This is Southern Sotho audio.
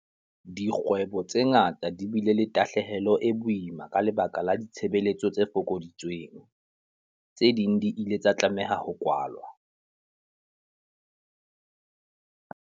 Dikgwebo tse ngata di bile le tahlehelo e boima ka lebaka la ditshebetso tse fokoditsweng. Tse ding di ile tsa tlameha ho kwalwa.